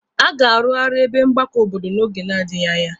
A ga-arụarị ebe mgbakọ obodo n'oge na-adịghi anya.